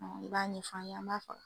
Ɔn i b'a ɲɛfɔ an ye ,an b'a famu.